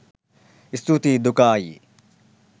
ස්තුතියි දුකා අයියෙ